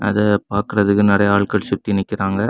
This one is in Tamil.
அத பாக்குறதுக்கு நிறைய ஆட்கள் சக்தி நிக்குறாங்க.